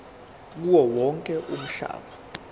kuwo wonke umhlaba